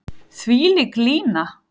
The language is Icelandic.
Þvílík lína.